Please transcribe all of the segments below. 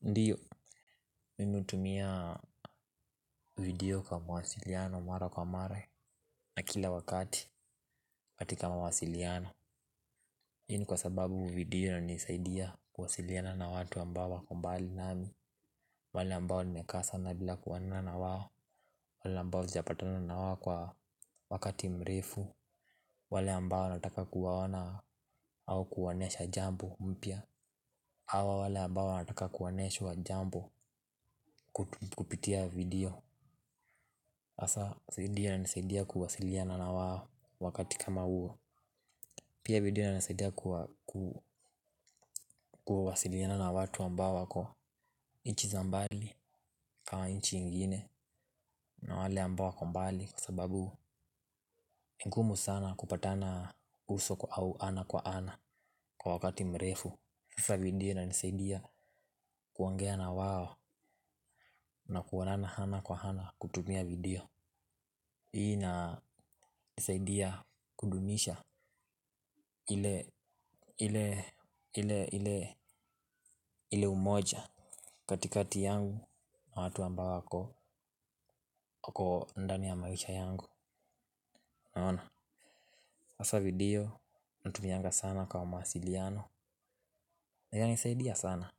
Ndiyo, mimi hutumia video kwa mawasiliano mara kwa mare na kila wakati katika mwasiliano. Hii ni kwa sababu video inanisaidia kuwasiliana na watu ambao wako mbali nami. Wale ambao nimekaa sana bila kuonana na wao. Wale ambao sijapatana na wao kwa wakati mrefu. Wale ambao nataka kuwaona au kuwaonyesha jambo mpya. Awa wale ambao wanataka kuoneshwa jambo kupitia video. Asa, nisaidi ananisaidia kuwasiliana na wao wakati kama uo. Pia, video inisaidia na nisaidia kuwasiliana na watu ambao wako inchi za mbali kwa inchi ingine na wale ambao wako mbali. Kwa sababu, ni ngumu sana kupatana uso au ana kwa ana kwa wakati mrefu sasa video inisaidia kuongea na wao na kuonana ana kwa ana kwa ana kutumia video. Hii inanisaidia kudumisha ile umoja katikati yangu na watu ambao wako ndani ya maisha yangu. Naona, sasa video, natumianga sana kwa mawasiliano inanisaidia sana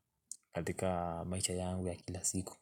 katika maisha yangu ya kila siku.